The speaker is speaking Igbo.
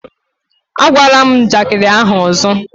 Ágwala m njakịrị ahụ ọzọ!